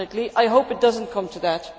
I hope it does not come to that.